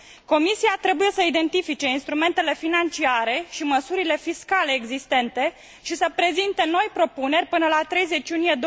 Comisia trebuie să identifice instrumentele financiare și măsurile fiscale existente și să prezinte noi propuneri până la 30 iunie